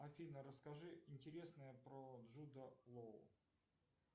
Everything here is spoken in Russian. афина расскажи интересное про джуда лоу